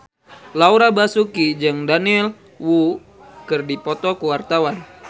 Laura Basuki jeung Daniel Wu keur dipoto ku wartawan